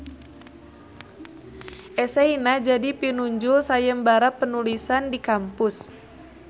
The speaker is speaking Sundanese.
Eseyna jadi pinunjul sayembara penulisan di kampus